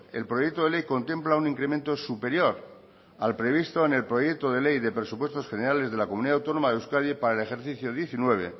el proyecto de ley contempla un incremento superior al previsto en el proyecto de ley de presupuestos generales de la comunidad autónoma de euskadi para el ejercicio diecinueve